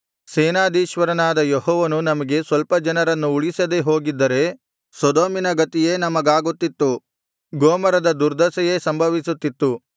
ಸೇನಾಧೀಶ್ವರನಾದ ಯೆಹೋವನು ನಮಗೆ ಸ್ವಲ್ಪ ಜನರನ್ನು ಉಳಿಸದೇ ಹೋಗಿದ್ದರೆ ಸೊದೋಮಿನ ಗತಿಯೇ ನಮಗಾಗುತ್ತಿತ್ತು ಗೊಮೋರದ ದುರ್ದಶೆಯೇ ಸಂಭವಿಸುತ್ತಿತ್ತು